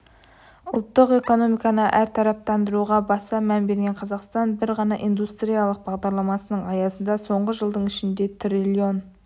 ұлттық экономиканы әртараптандыруға баса мән берген қазақстан бір ғана индустриялық бағдарламасының аясында соңғы жылдың ішінде триллион